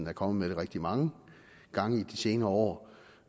er kommet med det rigtig mange gange i de senere år